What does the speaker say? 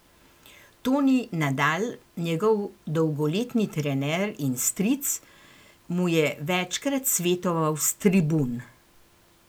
Toni Nadal, njegov dolgoletni trener in stric, mu je večkrat svetoval s tribun.